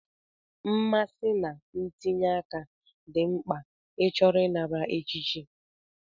Mmasị na ntinye aka dị mkpa ịchọrọ ịnara echichi.